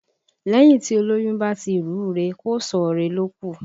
Lẹ́yìn tí olóyún bá ti rù ú re, kò sọ̀ ọ́ re ló kù